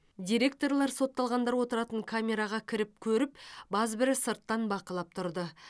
директорлар сотталғандар отыратын камераға кіріп көріп базбірі сырттан бақылап тұрды